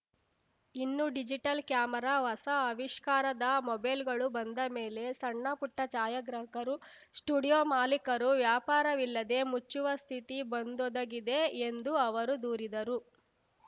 ಇನ್ನು digital camera ಹೊಸ ಅವಿಷ್ಕಾರದ ಮೊಬೈಲ್‌ಗಳು ಬಂದ ಮೇಲೆ ಸಣ್ಣಪುಟ್ಟಛಾಯಾಗ್ರಾಹಕರು ಸ್ಟುಡಿಯೋ ಮಾಲೀಕರು ವ್ಯಾಪಾರವಿಲ್ಲದೇ ಮುಚ್ಚುವ ಸ್ಥಿತಿ ಬಂದೊದಗಿದೆ ಎಂದು ಅವರು ದೂರಿದರು